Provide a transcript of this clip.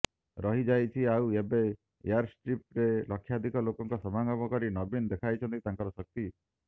ରହିଯାଇଛି ଆଉ ଏବେ ଏୟାରଷ୍ଟ୍ରିପ ରେ ଲକ୍ଷାଧିକ ଲୋକଙ୍କ ସମାଗମ କରି ନବୀନ ଦେଖାଇଛନ୍ତି ତାଙ୍କର ଶକ୍ତି